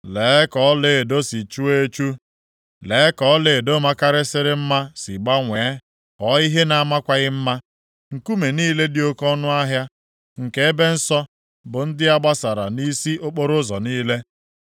Lee ka ọlaedo si chuo echu. Lee ka ọlaedo makarịsịrị mma si gbanwee ghọọ ihe na-amakwaghị mma. Nkume niile dị oke ọnụahịa nke ebe nsọ bụ ndị a ghasara nʼisi okporoụzọ niile.